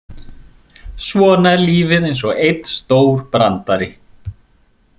Svona er lífið eins og einn stór brandari.